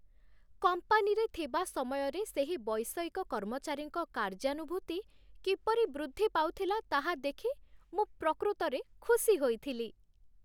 କମ୍ପାନୀରେ ଥିବା ସମୟରେ ସେହି ବୈଷୟିକ କର୍ମଚାରୀଙ୍କ କାର୍ଯ୍ୟାନୁଭୂତି କିପରି ବୃଦ୍ଧି ପାଉଥିଲା ତାହା ଦେଖି ମୁଁ ପ୍ରକୃତରେ ଖୁସି ହୋଇଥିଲି।